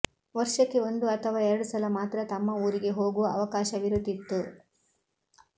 ವರ್ಷಕ್ಕೆ ಒಂದು ಅಥವಾ ಎರಡು ಸಲ ಮಾತ್ರ ತಮ್ಮ ಊರಿಗೆ ಹೋಗುವ ಅವಕಾಶವಿರುತ್ತಿತ್ತು